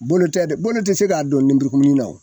Bolo tɛ bolo ti se k'a dɔn ni nin na